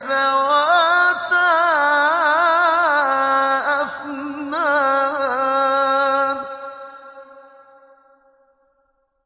ذَوَاتَا أَفْنَانٍ